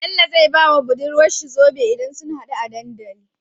Bello zai bawa budurwar sa zobe idan sun hadu a dandali